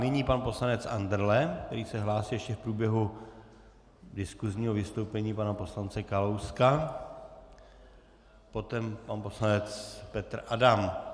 Nyní pan poslanec Andrle, který se hlásil ještě v průběhu diskusního vystoupení pana poslance Kalouska, potom pan poslanec Petr Adam.